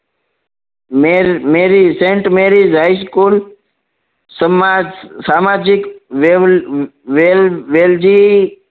મેલ Mary sent merry high school સમાજ સામાજિક વેલ વેલજી